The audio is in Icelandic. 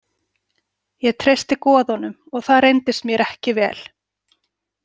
Ég treysti goðunum og það reyndist mér ekki vel